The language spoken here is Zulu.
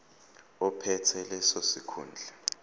ophethe leso sikhundla